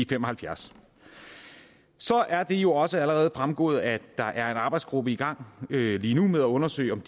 fem og halvfjerds så er det jo også allerede fremgået at der er en arbejdsgruppe i gang lige nu med at undersøge om